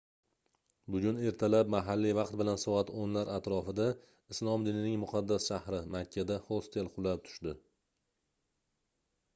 bugun ertalab mahalliy vaqt bilan soat 10 lar atrofida islom dinining muqaddas shahri makkada hostel qulab tushdi